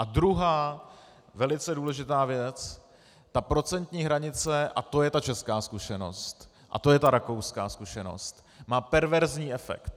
A druhá, velice důležitá věc, ta procentní hranice, a to je ta česká zkušenost a to je ta rakouská zkušenost, má perverzní efekt.